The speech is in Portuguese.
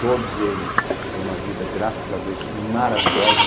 Todos eles têm uma vida, graças a Deus, maravilhosa.